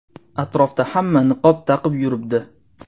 Atrofda hamma niqob taqib yuribdi.